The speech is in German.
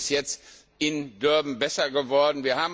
Das ist jetzt in Durban besser geworden.